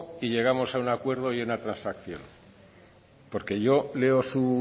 y llegamos a un acuerdo y una transacción porque yo leo su